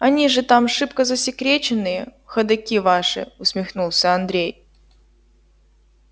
они же там шибко засекреченные ходоки ваши усмехнулся андрей